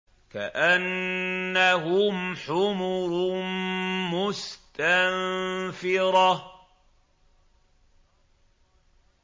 كَأَنَّهُمْ حُمُرٌ مُّسْتَنفِرَةٌ